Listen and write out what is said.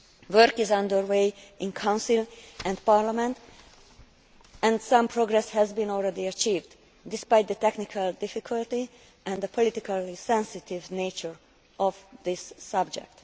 Work is under way in the Council and Parliament and some progress has been already achieved, despite the technical difficulty and the politically sensitive nature of this subject.